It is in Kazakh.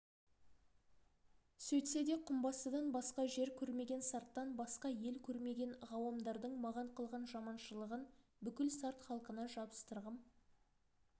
сөйтсе де құмбастыдан басқа жер көрмеген сарттан басқа ел көрмеген ғауамдардың маған қылған жаманшылығын бүкіл сарт халқына жабыстырғым